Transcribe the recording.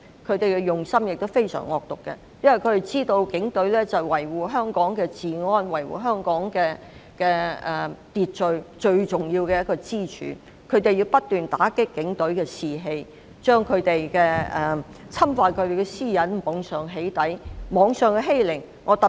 他們的用心非常惡毒，知道警隊是維護香港治安和秩序最重要的支柱。他們不斷打擊警隊士氣，透過網上"起底"侵犯他們的私隱，進行網上欺凌。